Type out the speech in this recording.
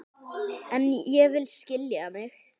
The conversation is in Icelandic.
En ég vil skilja mig.